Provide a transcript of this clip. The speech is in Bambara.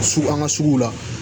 Sugu an ka suguw la